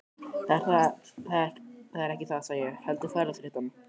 Það er ekki það sagði ég, heldur ferðaþreytan.